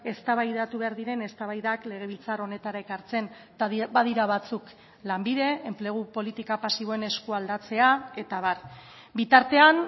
eztabaidatu behar diren eztabaidak legebiltzar honetara ekartzen eta badira batzuk lanbide enplegu politika pasiboen esku aldatzea eta abar bitartean